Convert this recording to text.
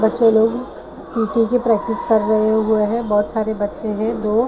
बच्चे लोगो पी_टी की प्रैक्टिस कर रहे हो जो है बहुत सारे बच्चे हैं दो --